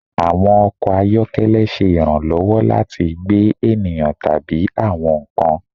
Awọn ọkọ ayọkẹlẹ ṣe iranlọwọ lati gbe eniyan tabi awọn nkan